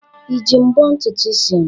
Iji mbọ ntutu isi m?